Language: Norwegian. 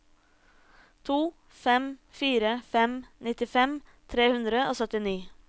to fem fire fem nittifem tre hundre og syttini